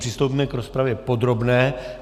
Přistoupíme k rozpravě podrobné.